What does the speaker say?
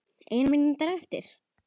Ein mínúta eftir.